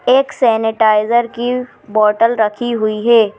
एक सैनिटाइजर की बोतल रखी हुई है।